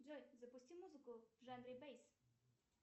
джой запусти музыку в жанре бэйс